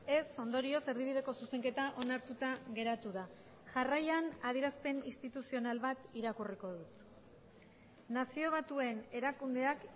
ez ondorioz erdibideko zuzenketa onartuta geratu da jarraian adierazpen instituzional bat irakurriko dut nazio batuen erakundeak